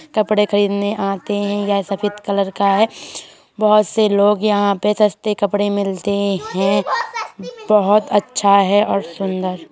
कपड़े खरीदने आते हैं यह सफे़द कलर का है बोहत से लोग यहाँ पे सस्ते कपड़े मिलते हैं। बोहत अच्छा है और सुंदर --